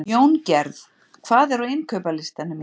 Jóngerð, hvað er á innkaupalistanum mínum?